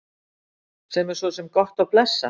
Sem er svo sem gott og blessað.